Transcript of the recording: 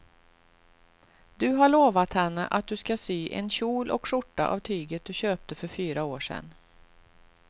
Du har lovat henne att du ska sy en kjol och skjorta av tyget du köpte för fyra år sedan.